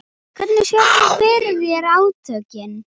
Hvernig sérðu fyrir þér átökin?